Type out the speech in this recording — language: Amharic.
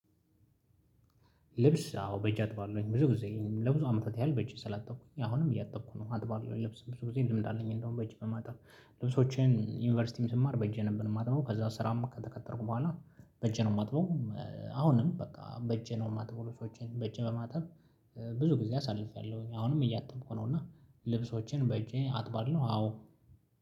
ልብስ አዎ በእጅ አጥባለውኝ ብዙ ጊዜ ለብዙ አመታት ያህል በእጄ ስላጠብኩኝ አሁንም እያጠብኩ ነው አጥባለሁ ለብስ ብዙ ጊዜ ለምድ አለኝ እንደውም በጅ በማጠብ ልብሶቼን ዩኒቨርሲቲም ስማር በእጄ ነበር የማጥበው ከዛ ስራም ከተቀጠርኩ በኋላ በእጄ ነው የማጥበው። አሁንም በቃ በእጄ ነው የማጥበው ለሰዎች በእጅ በማጠብ። ብዙ ጊዜ አሳልፌያለሁኝ አሁንም እያተምኩ ነው እና ልብሶቼን በእጄ አጥባለሁ አዎ።